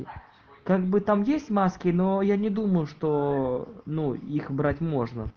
как бы там есть маски но я не думаю что ну их брать можно